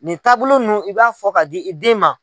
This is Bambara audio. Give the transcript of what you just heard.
Nin taabolo ninnu i b'a fɔ ka di i den ma.